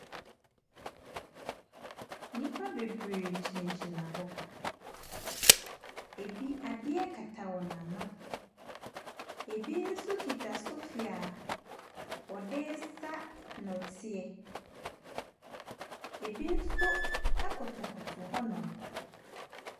Nnipa bebree gyinagyina hɔ. Ebi adeɛ kata wɔn ano. Ebi nso kita sofi a wɔde resa nnɔteɛ. Ebi nso kotokoto hɔnom.